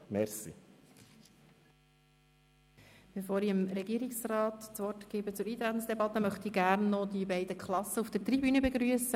Bevor ich dem Regierungsrat das Wort erteile, möchte ich noch die beiden Klassen auf der Tribüne begrüssen.